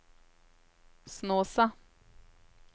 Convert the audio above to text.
Snåsa